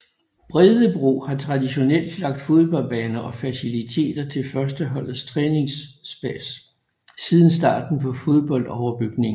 Bredebro har traditionelt lagt fodboldbaner og faciliteter til førsteholdets træningspas siden starten på fodboldoverbygningen